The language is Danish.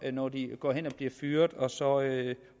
når de går hen og bliver fyret og så